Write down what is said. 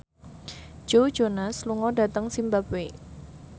Joe Jonas lunga dhateng zimbabwe